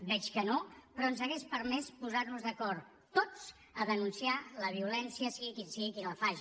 veig que no però ens hauria permès posar nos d’acord tots a denunciar la violència sigui qui sigui qui la faci